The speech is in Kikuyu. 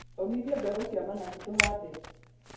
ũmithia mbegũ cia managu tũhande.